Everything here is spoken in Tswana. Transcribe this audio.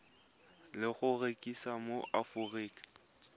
le go rekisiwa mo aforika